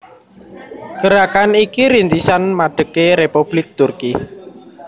Gerakan iki rintisan madegé Republik Turki